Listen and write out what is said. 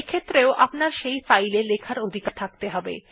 এক্ষেত্রেও আপনার সেই ফাইল এ লেখার অধিকার থাকতে হবে